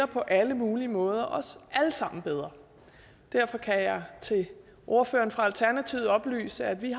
på alle mulige måder stiller os alle sammen bedre derfor kan jeg til ordføreren fra alternativet oplyse at vi